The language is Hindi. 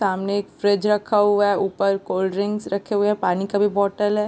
सामने एक फ्रिज रखा हुआ है ऊपर कोल्ड ड्रिंक्स रखे हुए है पानी का भी बॉटल हैं।